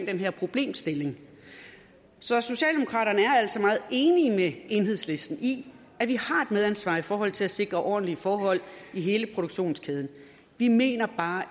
den her problemstilling så socialdemokraterne er altså meget enige med enhedslisten i at vi har et medansvar i forhold til at sikre ordentlige forhold i hele produktionskæden vi mener bare